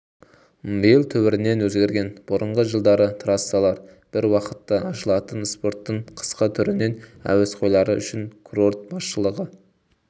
биыл түбірінен өзгерген бұрынғы жылдары трассалар біруақытта ашылатын спорттың қысқы түрінің әуесқойлары үшін курорт басшылығы